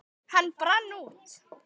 Hann brann út.